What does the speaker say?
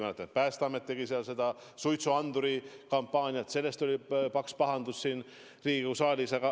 Ma mäletan, et Päästeamet tegi seal suitsuanduri kampaaniat ja sellest tuli paks pahandus Riigikogu saalis.